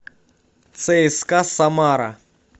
цска самара